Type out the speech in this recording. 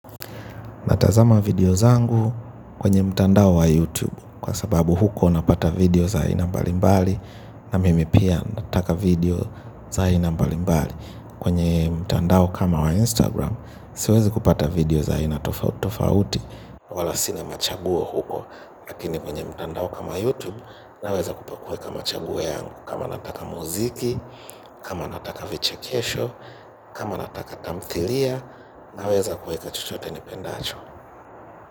Natazama video zangu kwenye mtandao wa YouTube. Kwa sababu huko napata video za aina mbali mbali na mimi pia nataka video za aina mbali mbali, kwenye mtandao kama wa Instagram siwezi kupata video za aina tofauti wala sinema chaguo huko. Lakini kwenye mtandao kama YouTube naweza kupakua kama chaguo yangu. Kama nataka muziki zu kama nataka vichekesho kama nataka tamthilia naweza kuweka chochote nipendacho.